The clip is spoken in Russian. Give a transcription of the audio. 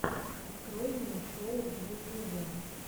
открой мне шоу в ютубе